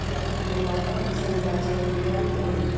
Aidiyyəti qurumlardan bizə müraciət eləyən olmayıb.